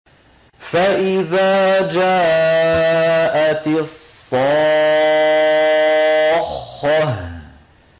فَإِذَا جَاءَتِ الصَّاخَّةُ